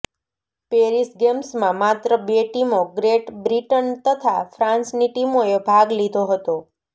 Paris ગેમ્સમાં માત્ર બે ટીમો ગ્રેટ બ્રિટન તથા ફ્રાન્સની ટીમોએ ભાગ લીધો હતો